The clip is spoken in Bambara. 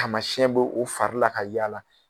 Taamasiyɛn be o fari la ka yaala